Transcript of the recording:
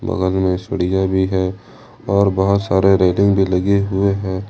बगल में सीढ़ियां भी हैं और बहोत सारे रेलिंग भी लगे हुए हैं।